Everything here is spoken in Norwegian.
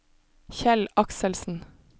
Kjell Akselsen